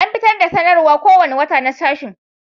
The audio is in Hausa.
An fitar da sanarwar kowane wata na sashen